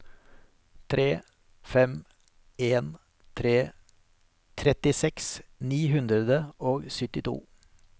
tre fem en tre trettiseks ni hundre og syttito